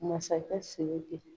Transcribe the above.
Masakɛ siriki